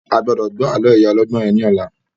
A gbọ́dọ̀ gbọ́ àlọ́ ìyá ọlọ́gbọ́n yẹn ní ọ̀la